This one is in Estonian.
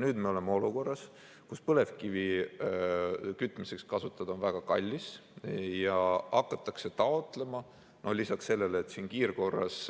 Nüüd me oleme olukorras, kus põlevkivi kütmiseks kasutada on väga kallis ja lisaks sellele, et siin kiirkorras